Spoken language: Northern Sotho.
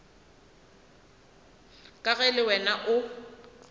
ka ge le wena o